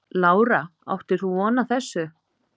Lára: Áttir þú von á þessu?